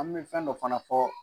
An mɛ fɛn dɔ fana fɔ